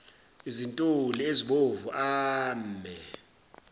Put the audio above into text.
izintuli ezibomvu ame